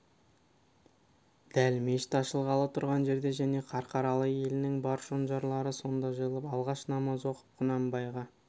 дәл мешіт ашылғалы тұрған жерде және қарқаралы елінің бар шонжарлары сонда жиылып алғаш намаз оқып құнанбайға